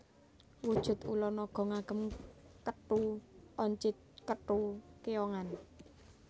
Wujud ula naga ngagem kethu oncit kethu keyongan